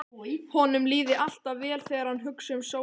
Honum líði alltaf vel þegar hann hugsi um sólina.